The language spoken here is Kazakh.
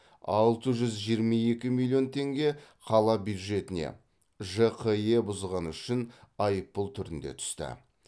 алты жүз жиырма екі миллион теңге қала бюджетіне жқе бұзғаны үшін айыппұл түрінде түсті